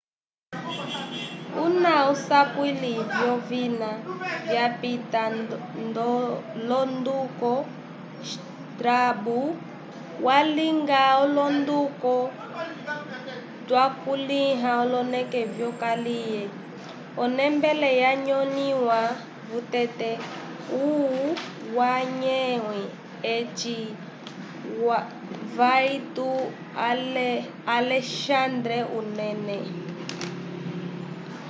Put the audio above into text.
una usapuli vyovina vyapita londuko strabo walinga olonduko twakuliha e oloneke vyokaliye o nembele ya nyolehiwa vuteke umwamhwe eci vaytyu a alexandre unene